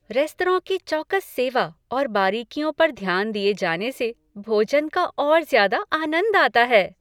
Restaurant की चौकस सेवा और बारीकियों पर ध्यान दिए जाने से भोजन का और ज्यादा आनंद आता है।